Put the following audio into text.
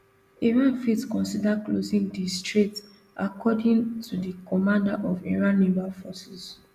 iran fit consider closing di strait according to di commander of iran naval forces